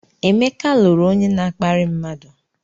Emeka lụrụ onye na-akparị mmadụ.